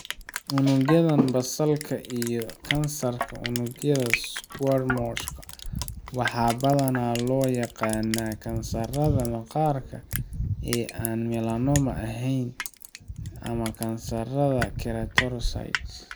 Unugyada Basal-ka iyo kansarka unugyada squamous-ka waxaa badanaa loo yaqaannaa kansarrada maqaarka ee aan melanoma ahayn ama kansarrada keratinocyte.